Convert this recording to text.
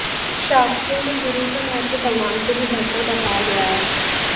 शास्त्रों में गुरु का महत्व भगवान से भी बढ़कर बताया गया है